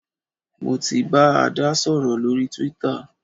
Mo ti bá Adé sọ̀rọ̀ lórí twitter